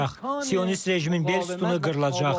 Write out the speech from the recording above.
Sionist rejimin bel sütunu qırılacaq.